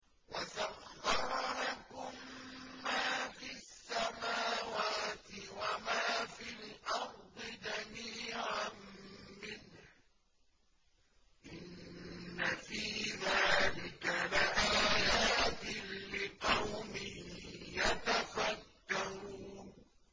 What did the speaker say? وَسَخَّرَ لَكُم مَّا فِي السَّمَاوَاتِ وَمَا فِي الْأَرْضِ جَمِيعًا مِّنْهُ ۚ إِنَّ فِي ذَٰلِكَ لَآيَاتٍ لِّقَوْمٍ يَتَفَكَّرُونَ